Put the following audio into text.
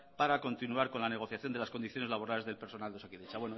para continuar con la negociación de las condiciones laborales del personal de osakidetza